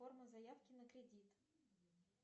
форма заявки на кредит